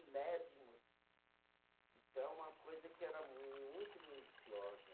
Então, uma coisa que era muito minuciosa